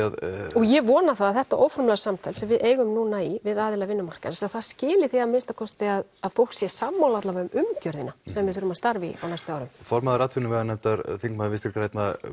og ég vona að þetta óformlega samtal sem við eigum núna í við aðila vinnumarkaðarins skili því að minnsta kosti að að fólk sé sammála allavega um umgjörðina sem við þurfum að starfa í á næstu árum formaður atvinnuveganefndar þingmaður Vinstri grænna